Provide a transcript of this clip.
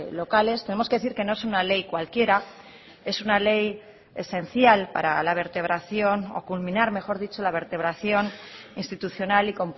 locales tenemos que decir que no es una ley cualquiera es una ley esencial para la vertebración o culminar mejor dicho la vertebración institucional y